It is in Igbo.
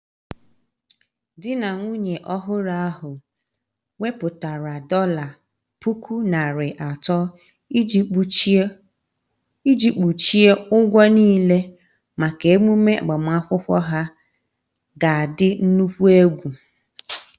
Di na nwunye ọhụrụ ahu weputara dollar puku nari ato iji kpuchie ụgwọ niile maka emume agbamakwụkwọ ha ga adi nnukwu egwu